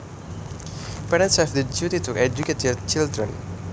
Parents have the duty to educate their children